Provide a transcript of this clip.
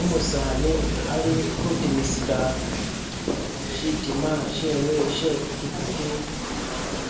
u'musani ali khu'timisila shi'tima she'we she'pikipiki